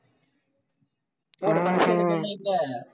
அஹ் உம்